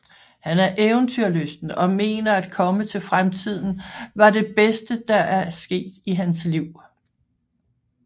Han er eventyrlysten og mener at komme til fremtiden var det bedste der er sket i hans liv